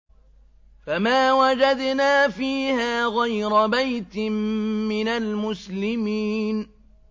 فَمَا وَجَدْنَا فِيهَا غَيْرَ بَيْتٍ مِّنَ الْمُسْلِمِينَ